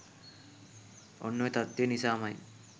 ඔන්න ඔය තත්ත්වය නිසාම යි